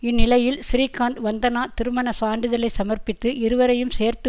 இந்நிலையில் ஸ்ரீகாந்த் வந்தனா திருமண சான்றிதழை சமர்ப்பித்து இருவரையும் சேர்த்து